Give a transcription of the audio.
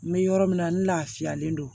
N bɛ yɔrɔ min na n lafiyalen don